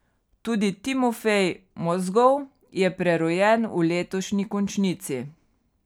Tudi Timofej Mozgov je prerojen v letošnji končnici.